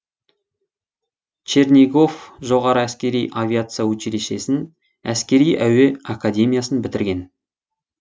чернигов жоғары әскери авиация училищесін әскери әуе академиясын бітірген